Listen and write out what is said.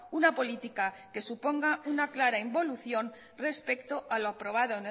una política que suponga una clara involución respecto a lo aprobado